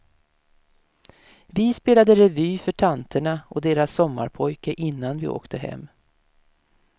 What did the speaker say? Vi spelade revy för tanterna och deras sommarpojke innan vi åkte hem.